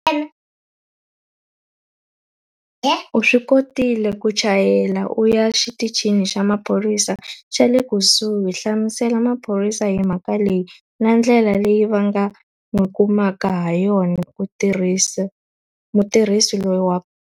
U swi kotile ku chayela u ya xiticini xa maphorisa xa le kusuhi. Hlamusela maphorisa hi mhaka leyi na ndlela leyi va nga n'wi kumaka ha yona mutirhisi loyi wa.